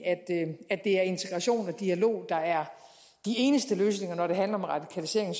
at det er integration og dialog der er de eneste løsninger når det handler om radikalisering